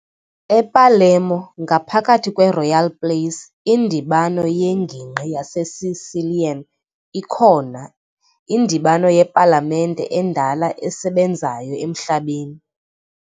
E-Palermo, ngaphakathi kweRoyal Place, iNdibano yeNgingqi yaseSicilian ikhona, indibano yepalamente endala esebenzayo emhlabeni.